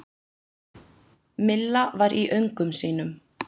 Milla var í öngum sínum.